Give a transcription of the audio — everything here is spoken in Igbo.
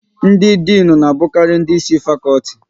Ndị Dịnụ na abukari ndị Ịsị fakọlti